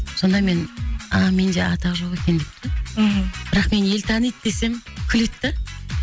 сонда мен а менде атақ жоқ екен деп та мхм бірақ мені ел таниды десем күледі да